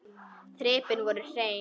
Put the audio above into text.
Þrepin voru hrein.